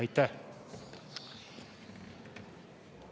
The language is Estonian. Aitäh!